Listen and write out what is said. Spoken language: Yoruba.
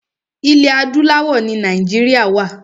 Ilẹ̀ adúláwọ̀ ni Nàìjíríà wa.